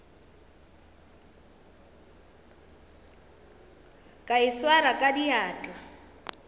ka e swara ka diatla